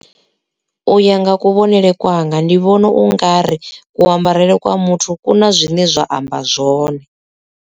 U ya nga kuvhonele kwanga ndi vhona u nga ri ku ambarele kwa muthu ku na zwine zwa amba zwone.